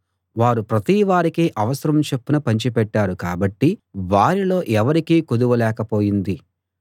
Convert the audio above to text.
వారు ప్రతివారికీ అవసరం చొప్పున పంచి పెట్టారు కాబట్టి వారిలో ఎవరికీ కొదువ లేకపోయింది